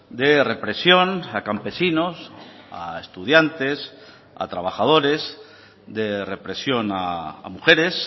de represión a campesinos a estudiantes a trabajadores de represión a mujeres